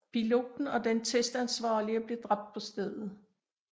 Piloten og den testansvarlige blev dræbt på stedet